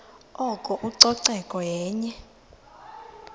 oko ucoceko yenye